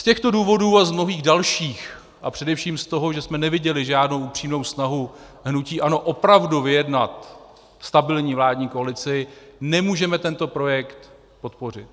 Z těchto důvodů a z mnohých dalších a především z toho, že jsme neviděli žádnou upřímnou snahu hnutí ANO opravdu vyjednat stabilní vládní koalici, nemůžeme tento projekt podpořit.